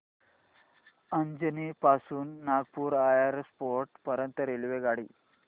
अजनी पासून नागपूर एअरपोर्ट पर्यंत रेल्वेगाडी